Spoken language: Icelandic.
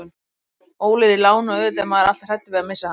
Óli er í láni og auðvitað er maður alltaf hræddur við að missa hann.